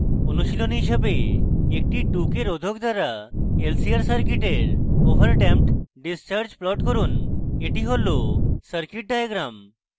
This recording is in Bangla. অনুশীলনী হিসাবে একটি 2k রোধক দ্বারা lcr সার্কিটের ওভার ডেম্পড ডিসচার্জ প্লট করুন এটি হল সার্কিট ডায়াগ্রাম